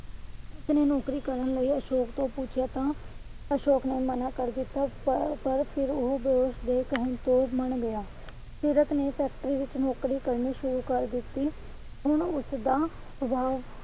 ਨੌਕਰੀ ਕਰਨ ਲਈ ਅਸ਼ੋਕ ਨੂੰ ਪੁੱਛਿਆ ਤਾਂ ਅਸ਼ੋਕ ਨੇ ਮਨਾ ਕਰ ਦਿੱਤਾ ਪਰ ਫਿਰ ਉਹ ਦੋਸਤ ਦੇ ਕਹਿਣ ਤੇ ਮਨ ਗਿਆ। ਸੀਰਤ ਨੇ factory ਵਿੱਚ ਨੌਕਰੀ ਕਰਨੀ ਸ਼ੁਰੂ ਕਰ ਦਿੱਤੀ। ਹੁਣ ਉਸਦਾ ਸ੍ਵਭਾਵ